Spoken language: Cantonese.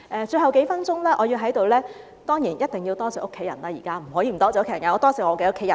最後還有數分鐘發言時間，我在此當然一定要多謝家人，不可以不多謝家人的，我要多謝我的家人。